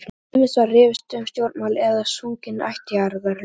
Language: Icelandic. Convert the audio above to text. Ýmist var rifist um stjórnmál eða sungin ættjarðarlög.